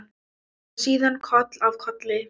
Og síðan koll af kolli.